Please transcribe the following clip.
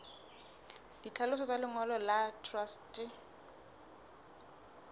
ditlhaloso tsa lengolo la truste